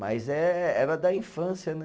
Mas eh, era da infância, né?